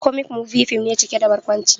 "Comic movie" fim ne cike da barkwanci